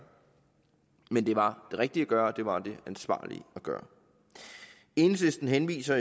men det var det rigtige at gøre og det var det ansvarlige at gøre enhedslisten henviser